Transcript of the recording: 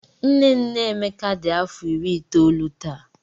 Nne nne Emeka dị afọ iri itoolu taa.